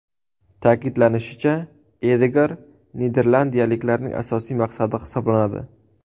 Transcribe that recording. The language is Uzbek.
Ta’kidlanishicha, Edegor niderlandiyaliklarning asosiy maqsadi hisoblanadi.